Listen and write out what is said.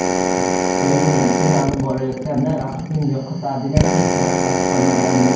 O‘yin yakunlanib borayotganda raqibning yo‘qotadigan hech narsasi qolmagandi.